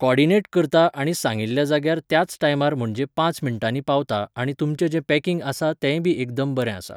Coordinate करता आनी सांगिल्ल्या जाग्यार त्याच टायमार म्हणजे पांच मिनटांनी पावता आनी तुमचें जें पॅकिंग आसा तेंय बी एकदम बरें आसा.